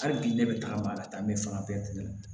Hali bi ne bɛ tagama ka taa n bɛ fanga bɛɛ tigɛ